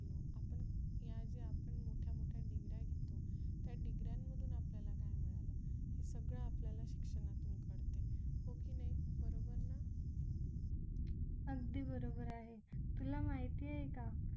या ज्या आपण मोठ्या मोठ्या degree घेतो त्या degree मधून आपल्याला काय मिळालं हे सगळं आपल्याला शिक्षणातून कळते हो की नाही बरोबर ना अगदी बरोबर आहे तुला माहिती आहे का